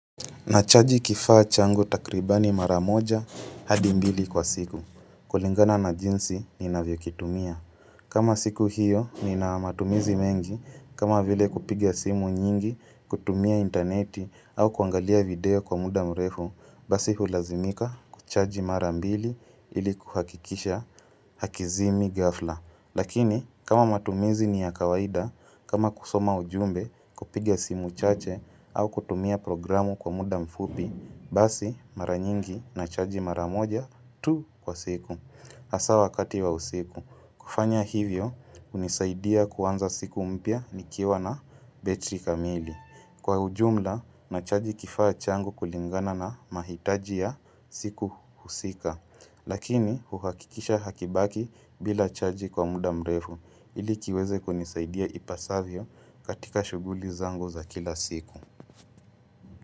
Nachaji kifaa changu takribani mara moja hadi mbili kwa siku. Kulingana na jinsi ninavyokitumia. Kama siku hiyo nina matumizi mengi, kama vile kupiga simu nyingi, kutumia interneti au kuangalia video kwa muda mrefu, basi hulazimika kuchaji mara mbili ili kuhakikisha hakizimi ghafla. Lakini, kama matumizi ni ya kawaida, kama kusoma ujumbe, kupiga simu chache au kutumia programu kwa muda mfupi, basi mara nyingi nachaji mara moja tu kwa siku. hAsaa wakati wa usiku. Kufanya hivyo, hunisaidia kuanza siku mpya nikiwa na betri kamili. Kwa ujumla nachaji kifaa changu kulingana na mahitaji ya siku husika, lakini huhakikisha hakibaki bila chaji kwa muda mrefu ili kiweze kunisaidia ipasavyo katika shughuli zangu za kila siku.